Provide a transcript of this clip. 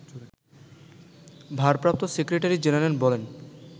ভারপ্রাপ্ত secretary general বলেন